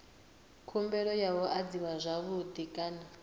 khumbelo yo adziwa zwavhui kana